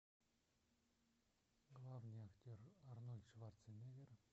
главный актер арнольд шварцнеггер